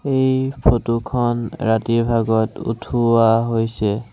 এই ফটোখন ৰাতিৰ ভাগত উঠোৱা হৈছে।